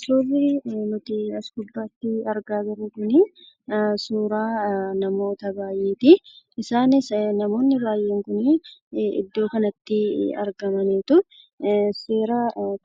Suurri nutii as gubbaatti argaa jirru kunii suuraa namoota baay'eetii. Isaanis namoonni baay'een kunii iddoo kanatti argamaniitu seera